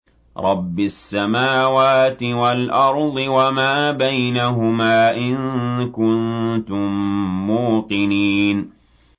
رَبِّ السَّمَاوَاتِ وَالْأَرْضِ وَمَا بَيْنَهُمَا ۖ إِن كُنتُم مُّوقِنِينَ